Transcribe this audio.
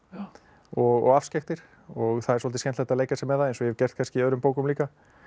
og afskekktir og það er svolítið skemmtilegt að leika sér með það eins og ég hef gert kannski í öðrum bókum líka